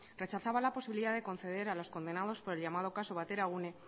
rechazaba la posibilidad de conceder a los condenados por el llamado caso bateragune